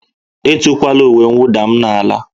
Etukwala uwe mwụda m n'ala!